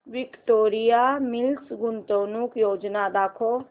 Victoria Mills गुंतवणूक योजना दाखव